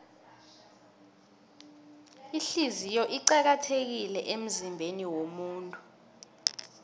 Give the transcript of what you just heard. ihliziyo iqakathekile emzimbeniwomuntu